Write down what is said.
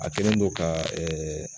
A kelen do ka